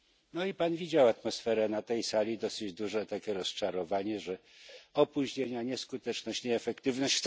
No i Pan widział atmosferę na tej sali dosyć duże takie rozczarowanie, że opóźnienia, nieskuteczność, nieefektywność.